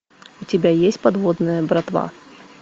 у тебя есть подводная братва